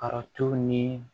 Karɔtiw ni